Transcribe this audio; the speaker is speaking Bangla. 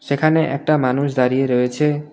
সেখানে একটা মানুষ দাঁড়িয়ে রয়েছে।